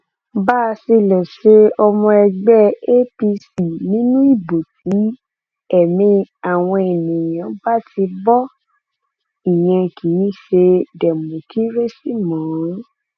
báṣìlèṣe ọmọ ẹgbẹ apc ni nínú ìbò tí ẹmí àwọn èèyàn bá ti bo ìyẹn kì í ṣe dẹmọkírésì mọ